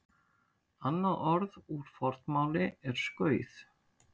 Annað orð úr fornmáli er skauð.